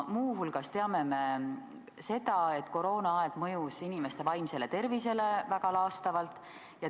Muu hulgas teame me seda, et koroonaaeg mõjus inimeste vaimsele tervisele väga laastavalt.